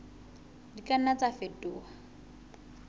di ka nna tsa fetoha